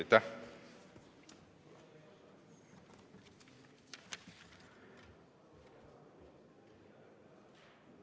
Aitäh!